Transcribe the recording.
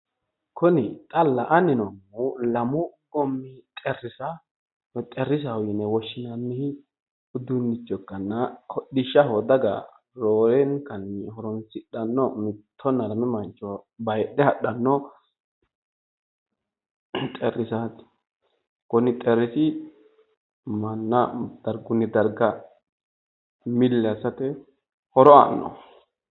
Kuni xa la’anni noommohu lamu goommi xexxerrisa xexxerrisaho yine woshshinanni uduunnicho ikkanna hodhishshaho daga roorenkanni horoonsidhanno. Mittonna lame mancho baayiidhe hadhanno xexxerrisaati. Kuni xexxerrisi manna dargunni dargga milli assate horo aanno.